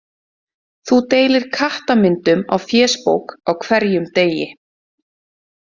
Þú deilir kattamyndum á fésbók á hverjum degi.